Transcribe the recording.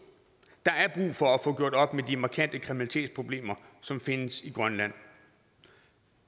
der er brug for at få gjort op med de markante kriminalitetsproblemer som findes i grønland